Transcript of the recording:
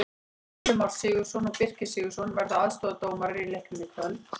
Gylfi Már Sigurðsson og Birkir Sigurðarson verða aðstoðardómarar í leiknum í kvöld.